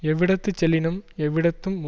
எவ்விடத்துச் செல்லினும் எவ்விடத்தும்